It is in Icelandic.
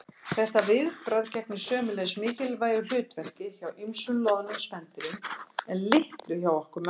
Þetta viðbragð gegnir sömuleiðis mikilvægu hlutverki hjá ýmsum loðnum spendýrum en litlu hjá okkur mönnunum.